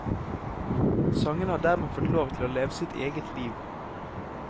Sangene har dermed fått lov til å leve sitt eget liv.